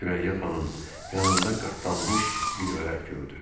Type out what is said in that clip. Sürəyyə xanım yanında qatlanmış bir vərəq gördü.